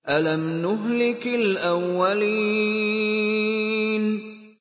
أَلَمْ نُهْلِكِ الْأَوَّلِينَ